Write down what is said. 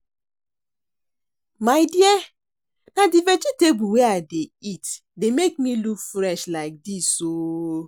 My dear na the vegetable wey I dey eat dey make me look fresh like dis oo